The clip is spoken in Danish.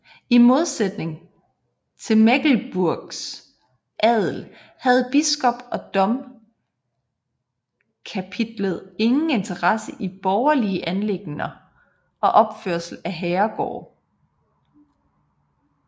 I modsætning til Mecklenburgs adel havde biskop og domkapitlet ingen interesse i borgerlige anliggender og opførelsen af herregårde